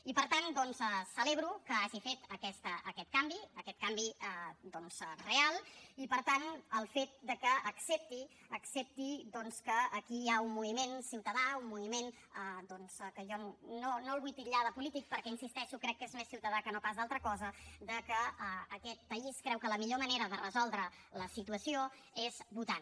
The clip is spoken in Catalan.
i per tant celebro que hagi fet aquest canvi aquest canvi real i per tant el fet de que accepti que aquí hi ha un moviment ciutadà un moviment que jo no vull titllar de polític perquè hi insisteixo crec que és més ciutadà que no pas altra cosa que aquest país creu que la millor manera de resoldre la situació és votant